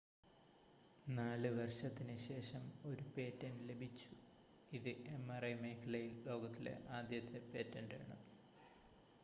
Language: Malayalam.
4 വർഷത്തിന് ശേഷം ഒരു പേറ്റൻ്റ് ലഭിച്ചു ഇത് mri മേഖലയിൽ ലോകത്തിലെ ആദ്യത്തെ പേറ്റൻ്റാണ്